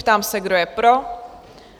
Ptám se, kdo je pro?